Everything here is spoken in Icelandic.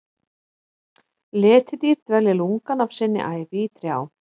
Letidýr dvelja lungann af sinni ævi í trjám.